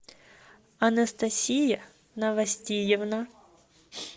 анастасия новостиевна